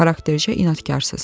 Xaraktercə inadkarsınız.